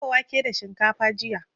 Na dafa wake da shinkafa jiya.